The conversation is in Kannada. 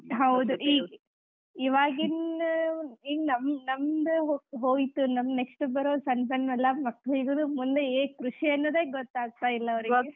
ಹೌದ್, ಈ ಇವಾಗಿನ್ ನಮ್~ ನಮ್ದ್ ಹೋ~ ಹೋಯ್ತ್, ನಮ್ next ಬರೋ ಸಣ್ಣ ಸಣ್ಣ ಎಲ್ಲ ಮಕ್ಕಳಿಗೂ ಮುಂದೆ ಏನ್ ಕೃಷಿ ಅನ್ನೋದೇ ಗೊತ್ತಾಗ್ತಾಯಿಲ್ಲ ಅವರಿಗೆ.